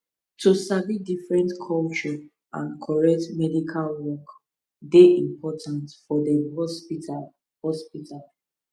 to sabi different culture and correct medical work dey important for dem hospital hospital